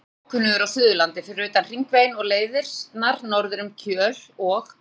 Ég er alveg ókunnugur á Suðurlandi fyrir utan Hringveginn og leiðirnar norður um Kjöl og